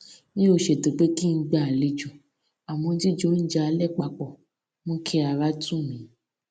mi ò ṣètò pé kí n gba alejo àmó jíjẹ oúnjẹ alé pa pò mú kí ara tù mí